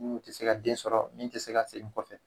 tɛ se ka den sɔrɔ min tɛ se ka segin kɔfɛ.